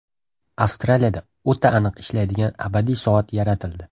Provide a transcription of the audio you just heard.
Avstraliyada o‘ta aniq ishlaydigan abadiy soat yaratildi.